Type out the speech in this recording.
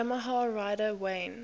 yamaha rider wayne